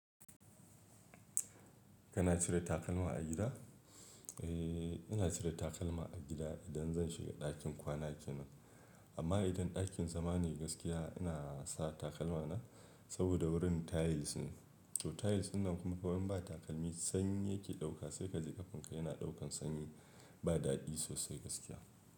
Kana cire takalma a gida? Eee, ina cire takalma a gida idan zan shiga ɗakin kwana kenan. Amma idan ɗakin zama ne gaskiya, ina sa takalma na saboda wurin tiles ne, to tiles dinnan kuma in ba takalmi sanyi yake ɗauka sai ka je ƙafanka yana ɗaukan sanyi ba daɗi sosai gaskiya.